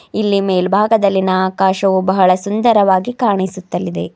ಇಲ್ಲಿ ಮೆಲ್ಭಾಗದಲ್ಲಿನ ಆಕಾಶವು ಬಹಳ ಸುಂದರವಾಗಿ ಕಾಣಿಸುತ್ತಲಿದೆ.